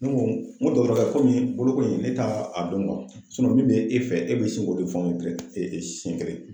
Ne ko n ko dɔtɔrɔkɛ komi boloko in ne ta a dɔn min bɛ e fɛ e bɛ se k'o de fɔ e bɛ sin k'o de fɔ siyɛn kelen.